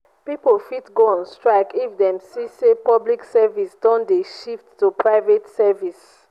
pipo fit go on strike if dem see say public service don de shift to private services